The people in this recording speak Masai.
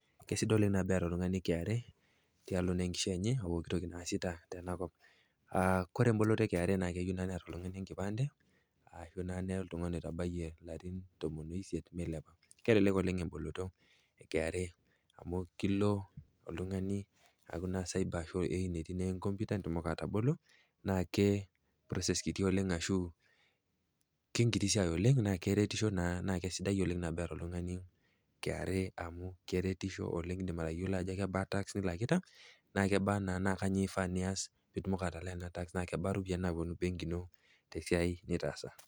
Kesidai oleng nabo eata oltung'ani KRA tialo naa enkishui enye opooki toki naasita tena kop. Ore emboloto e KRA naa eyeu naa neata oltung'ani enkipande, ashu naa nira oltung'ani oitabayie ilarin tomon o isiet meilepa. Kelelek oleng emboloto e KRA amu kelo oltung'ani aaku naa cyber enetii naa enkomputa peitumoki atabolo, naake process kiti oleng ashu ke enkiti siai oleng naa keretisho naa nabo eata oltung'ani KRA amu keretisho oleng, indim atayiolo ajo kebaa tax nilakita, naa kebaa naa kanyoo eifaa nias pitumoki atalaa ena tax naa kebaa iropiani nawuonu embenki ino tesiai nitaasa.